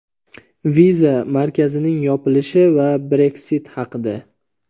viza markazining yopilishi va Breksit haqida.